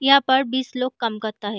यहाँ पर बीस लोग काम करता है।